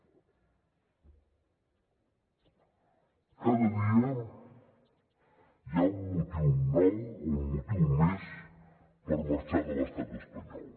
cada dia hi ha un motiu nou o un motiu més per marxar de l’estat espanyol